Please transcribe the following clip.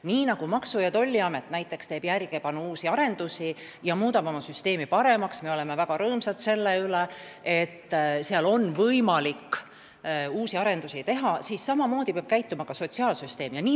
Nii nagu näiteks Maksu- ja Tolliamet teeb järjepanu uusi arendusi ja muudab oma süsteemi paremaks – ja me oleme väga rõõmsad selle üle, et seal on võimalik uusi arendusi teha –, peab samamoodi tegutsema ka sotsiaalsüsteem.